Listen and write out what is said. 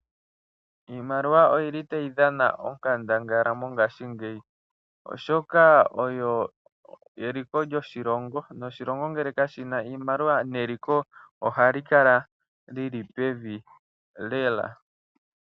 Iimaliwa oyi li ta yi dhana onkandangala mongashingeyi, oshoka oyo eliko lyoshilongo, noshilongo ngele kashi na iimaliwa neliko oha li kala lyili pevi lela.